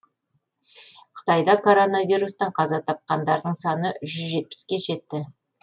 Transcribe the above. қытайда коронавирустан қаза тапқандардың саны жүз жетпіске жетті